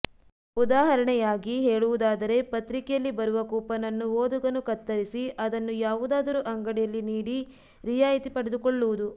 ಉದಾಹರಣೆಯಾಗಿ ಹೇಳುವುದಾದರೆ ಪತ್ರಿಕೆಯಲ್ಲಿ ಬರುವ ಕೂಪನ್ ಅನ್ನು ಓದುಗನು ಕತ್ತರಿಸಿ ಅದನ್ನು ಯಾವುದಾದರೂ ಅಂಗಡಿಯಲ್ಲಿ ನೀಡಿ ರಿಯಾಯಿತಿ ಪಡೆದುಕೊಳ್ಳುವುದು